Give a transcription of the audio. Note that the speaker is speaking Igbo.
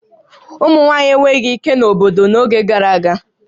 Ụmụ nwaanyị enweghị ike na obodo n'oge gara aga